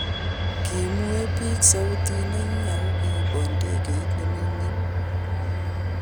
kimue biik sautit nenyin ago kibo ndegeit nemingin